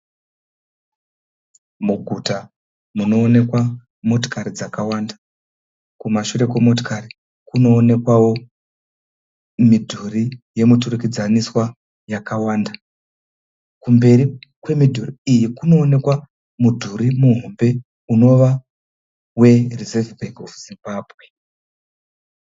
Muguta munoonekwa motikari dzakawanda. Kumashure kwemotikari kunoonekwawo midhuri yemuturikidzaniswa yakawanda. Kumberi kwemidhiri iyi kunoonekwa mudhuri muhombe unova weReserve Bank Of Zimbabwe.